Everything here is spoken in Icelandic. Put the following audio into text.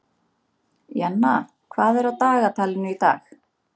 Jenna, hvað er á dagatalinu í dag?